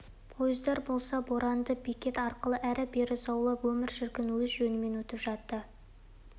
пойыздар болса боранды бекет арқылы ары-бері заулап өмір шіркін өз жөнімен өтіп жатты